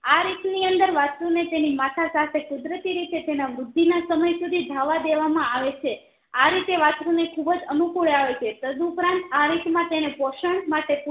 આ રીટા ની અંદર વાસ્ત્રુ ને તેની માતા સાથે કુદરતી રીતે તેના બુદ્ધિના સમય સુધી ધાવવા દેવા માં આવેછે આરીતે વાસ્ત્રુ નેખુબજ અનુકુળ આવે છે તદુપરાંત આરીત માં તેને પોષણ